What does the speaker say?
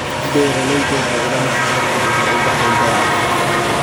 Beeraleydu waxay ogaan karaan guryaha u baahan dayactirka.